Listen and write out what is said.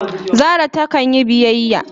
Zara ta kan yi biyyaya.